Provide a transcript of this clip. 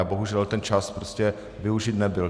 A bohužel ten čas prostě využit nebyl.